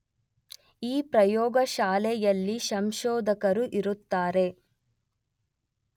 ಈ ಪ್ರಯೋಗಶಾಲೆಯಲ್ಲಿ ಸಂಶೋಧಕರು ಇರುತ್ತಾರೆ